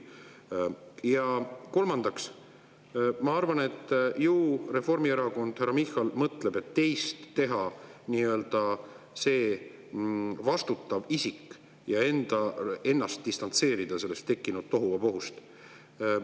Kolmandaks, ma arvan, et ju Reformierakond või härra Michal mõtleb, et teeb teist nii-öelda selle vastutava isiku, ennast aga distantseerib sellest tekkinud tohuvabohust.